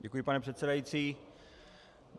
Děkuji, pane předsedající.